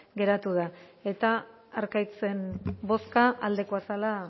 geratu da eta arkaitzen bozka aldekoa zela